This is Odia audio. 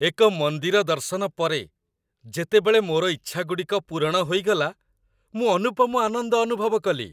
ଏକ ମନ୍ଦିର ଦର୍ଶନ ପରେ, ଯେତେବେଳେ ମୋର ଇଚ୍ଛାଗୁଡ଼ିକ ପୂରଣ ହୋଇଗଲା, ମୁଁ ଅନୁପମ ଆନନ୍ଦ ଅନୁଭବ କଲି।